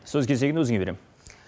сөз кезегін өзіңе берем